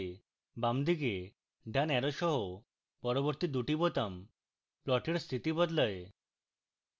বামদিকে ডান arrow সহ পরবর্তী দুটি বোতাম প্লটের স্থিতি বদলায়